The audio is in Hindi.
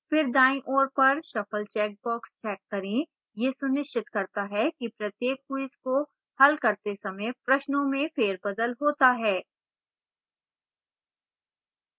फिर दायीं ओर पर shuffle checkbox check करें यह सुनिश्चित करता है कि प्रत्येक quiz को हल करते समय प्रश्नों में फेरबदल होता है